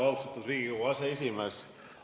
Austatud Riigikogu aseesimees!